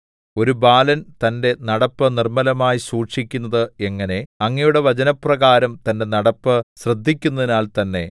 ഒരു ബാലൻ തന്റെ നടപ്പ് നിർമ്മലമായി സൂക്ഷിക്കുന്നത് എങ്ങനെ അങ്ങയുടെ വചനപ്രകാരം തന്റെ നടപ്പ് ശ്രദ്ധിക്കുന്നതിനാൽ തന്നെ